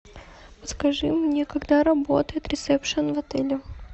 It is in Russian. подскажи мне когда работает ресепшн в отеле